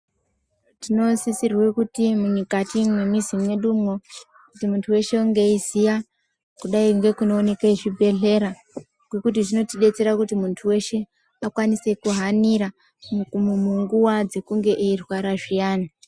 Tinosisirwe kuti mukati mwemuzi mwedumwo kuti muntu unge weiziya kudai ngekunooneka zvibhedhlera ngekuti vinotibetsera kuti muntu weshe akwanise kuhanira munguwa dzekunge eirwara zviyani.